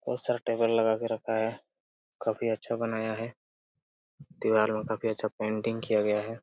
बहोत सारा टेबल लगाके रखा है| काफ़ी अच्छा बनाया है दीवार में काफ़ी अच्छा पेन्टिंग किया गया है।